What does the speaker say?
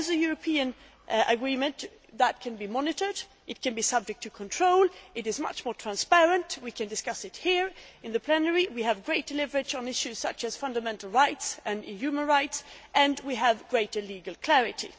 As a European agreement, it can be monitored, it can be subject to control, it is much more transparent, we can discuss it here in plenary, we have greater leverage on issues such as fundamental rights and human rights, and we have greater legal clarity.